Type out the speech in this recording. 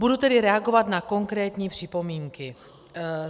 Budu tedy reagovat na konkrétní připomínky.